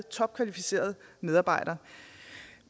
topkvalificerede medarbejdere